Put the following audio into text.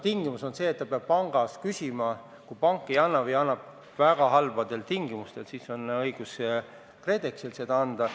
Tingimus on see, et ühistu peab pangast küsima, kui pank ei anna või annab väga halbadel tingimustel, siis on õigus KredExil seda anda.